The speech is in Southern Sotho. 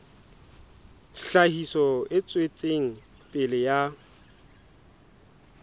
tlhahiso e tswetseng pele ya